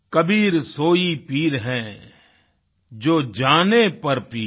कबीर सोई पीर है जो जाने पर पीर